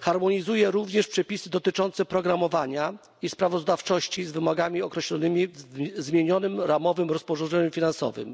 harmonizuje również przepisy dotyczące programowania i sprawozdawczości z wymogami określonymi w zmienionym ramowym rozporządzeniu finansowym.